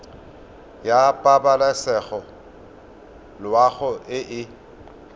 ya pabalesego loago e e